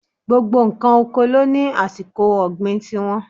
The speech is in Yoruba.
Gbogbo ǹkan oko ló ní àsìkò ọ̀gbìn ti wọn.